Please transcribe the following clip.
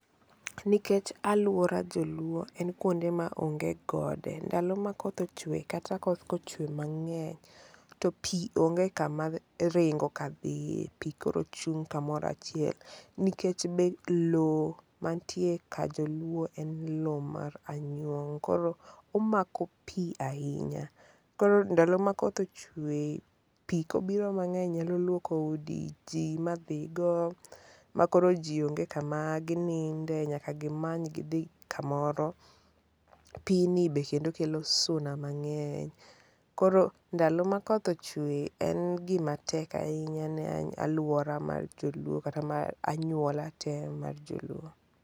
Nikech aluora joluo en kuonde maonge gode. Ndalo ma koth ochwe kata koth kochwe mang'eny, to pi onge kamaringo kadhie. Pi koro chung' kamoro achiel. Nikech be lowo mantie ka Joluo en lowo mar anyuong ' koro omako pi ahinya. Koro nadlo ma koth ochwe, pi kobiro mang'eny nyalo luoko udi ji ma dhi go ma koro ji onge kama gininde nyaka gimany gidhi kamoro. Pi ni bende kelo suna mang'eny. Koro ndalo ma koth ochwe en gi matek ahinya ne aluora mar joluo ka anyuola te mar joluo.